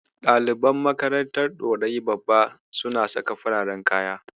Ɗaliban makarantar Ɗorayi Babba suna saka fararen kaya.